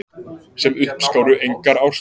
Sem uppskáru engar árstíðir.